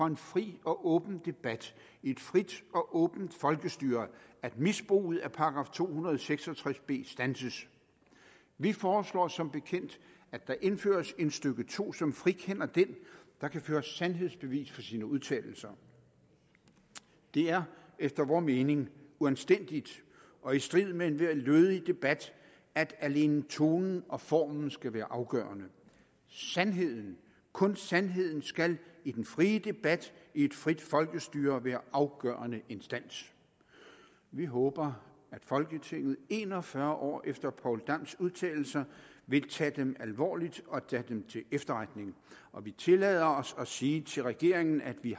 en fri og åben debat i et frit og åbent folkestyre at misbruget af § to hundrede og seks og tres b standses vi foreslår som bekendt at der indføres et stykke to som frikender den der kan føre sandhedsbevis for sine udtalelser det er efter vor mening uanstændigt og i strid med enhver lødig debat at alene tonen og formen skal være afgørende sandheden kun sandheden skal i den frie debat i et frit folkestyre være afgørende instans vi håber at folketinget en og fyrre år efter poul dams udtalelser vil tage dem alvorligt og tage dem til efterretning og vi tillader os at sige til regeringen at vi